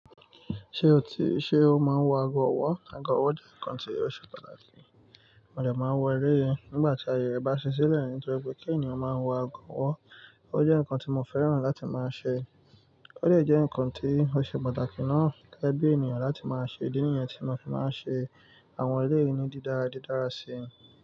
Ṣé o ti, ṣe o máa ń wọ ago ọwọ́? Ago ọwọ́ jẹ́ nǹkan tí ó ṣe pàtàkì, mo dè máa n wọ elé yìí nígbà tí ayẹ rẹ bá ṣi sílẹ̀, ní tọ́ri pé kí ènìyàn máa wọ ago ọwọ́. Ó jẹ́ nǹkan tí mo fẹ́ràn láti máa ṣe, ó lè jẹ́ nǹkan tí ó ṣe pàtàkì náà gẹ́gebí ènìyàn láti máa ṣe. Idí nìyẹn tí mo fi máa ń ṣe àwọn elé yìí ní dídára didára sí i.